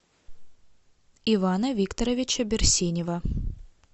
ивана викторовича берсенева